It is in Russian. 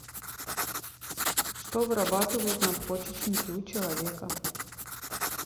что вырабатывают надпочечники у человека